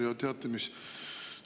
Ja teate mis?